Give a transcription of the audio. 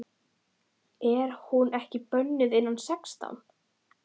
Er hún ekki bönnuð innan sextán?